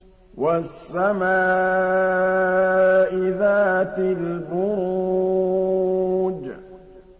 وَالسَّمَاءِ ذَاتِ الْبُرُوجِ